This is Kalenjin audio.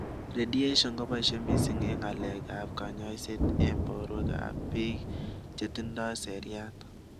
Radiation kopaishe missing eng ngalekap kanyaiset eng porwek ap pik chetindoi seriat